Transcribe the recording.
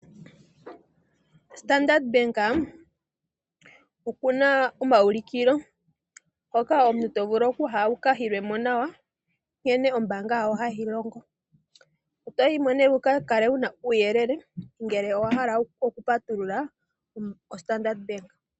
Standard Bank okuna omayulikilo hoka omuntu tovulu okuya wuka yilwemo nawa, nkene ombaanga yawo hayi longo toyimo nee wukakale wuna uuyelele ngele owahala oku patulula oStandard Bank.